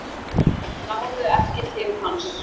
Náðu ekki til hans